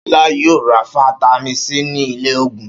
Ṣọlá yóò ra fataímìn C ní ilé-òògùn.